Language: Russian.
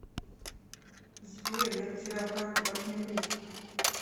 сбер я потерял карту как мне быть